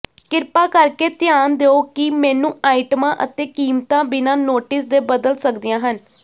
ਕਿਰਪਾ ਕਰਕੇ ਧਿਆਨ ਦਿਉ ਕਿ ਮੇਨੂੰ ਆਈਟਮਾਂ ਅਤੇ ਕੀਮਤਾਂ ਬਿਨਾਂ ਨੋਟਿਸ ਦੇ ਬਦਲ ਸਕਦੀਆਂ ਹਨ